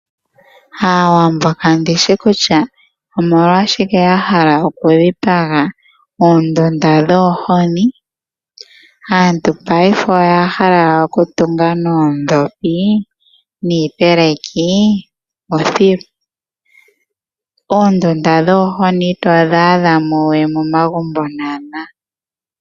Aawambo kandishi kutya omolwashike ya hala oku dhipaga oondunda dhoohoni, aantu paife oya hala oku tunga noodhopi, niipeleki othilu, oondunda dhoohoni itodhi adha mo we momagumbo nawanawa.